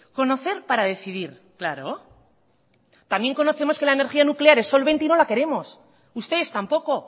conocer para decidir claro también conocemos que la energía nuclear es solvente y no la queremos ustedes tampoco